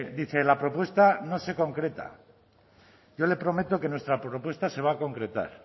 dice la propuesta no se concreta yo le prometo que nuestra propuesta se va a concretar